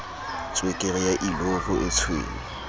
tswekere ya illovo e tshweu